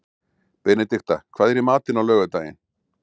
Benedikta, hvað er í matinn á laugardaginn?